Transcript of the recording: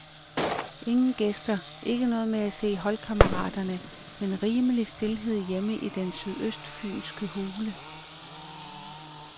Ingen gæster, ikke noget med at se holdkammeraterne, men rimelig stilhed hjemme i den sydøstfynske hule.